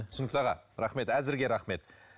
түсінікті аға рахмет әзірге рахмет